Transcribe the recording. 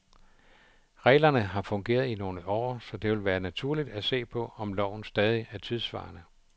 Reglerne har fungeret i nogle år, så det vil være naturligt at se på, om loven stadig er tidsvarende.